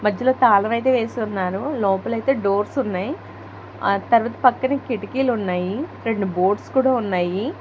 తాళం అయితే వేసి ఉన్నారు లోపల అయితే డోర్స్ ఉన్నాయి ఆ తర్వాత పక్కన కిటికీలు ఉన్నాయి రెండు బోర్డ్స్ కూడా ఉన్నాయి.